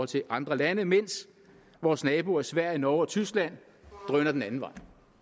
til andre lande mens vores naboer sverige norge og tyskland drøner den anden vej